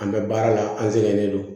An bɛ baara la an sɛgɛnnen don